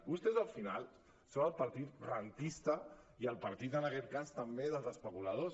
vostès al final són el partit rendista i el partit en aquest cas també dels especuladors